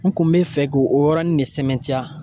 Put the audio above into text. N kun bɛ fɛ k'o o yɔrɔnin ne sɛmɛntiya